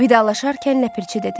Vidalaşarkən Ləpirçi dedi: